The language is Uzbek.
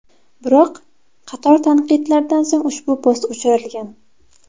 Biroq, qator tanqidlardan so‘ng ushbu post o‘chirilgan.